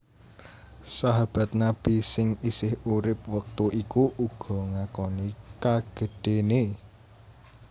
Sahabat Nabi sing isih urip wektu iku uga ngakoni kagedhéné